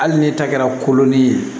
Hali n'e ta kɛra kolon ni ye